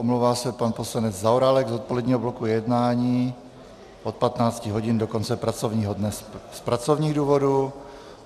Omlouvá se pan poslanec Zaorálek z odpoledního bloku jednání od 15 hodin do konce pracovního dne z pracovních důvodů.